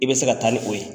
I bɛ se ka taa ni o ye